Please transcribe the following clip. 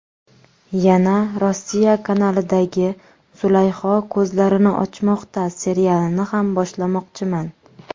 Yana ‘Rossiya’ kanalidagi ‘Zulayho ko‘zlarini ochmoqda’ serialini ham boshlamoqchiman.